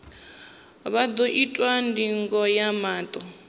vha ḓo itwa ndingo ya maṱo